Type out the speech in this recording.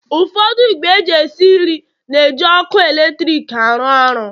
Ụfọdụ ìgwè esi nri na-eji ọkụ eletrik arụ ọrụ